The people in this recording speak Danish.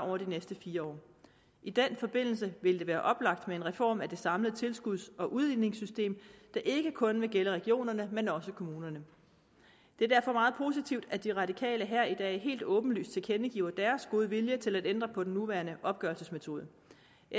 over de næste fire år i den forbindelse ville det være oplagt med en reform af det samlede tilskuds og udligningssystem der ikke kun vil gælde regionerne men også kommunerne det er derfor meget positivt at de radikale her i dag helt åbenlyst tilkendegiver deres gode vilje til at ændre på den nuværende opgørelsesmetode